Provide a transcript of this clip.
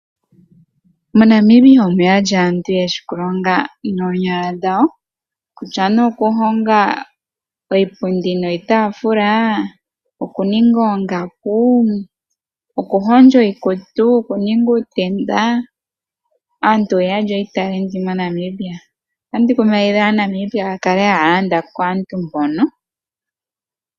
MoNamibia omuna aantu yeshi okulonga noonyala dhawo , kutya okuhonga iipundi niitaafula , okuninga oongaku , okuhondja iikutu, okuninga uutenda. Aantu oyuudha iitalenti moNamibia. Otandi kumagidha aaNambia yakale haya landa kaantu mbono.